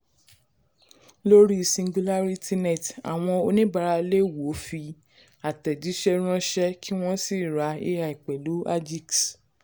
lórí singularitynet àwọn oníbàárà lè wo fi àtẹ̀jísẹ́ ránṣẹ́ kí wọ́n sì ra ai pẹ̀lú agix.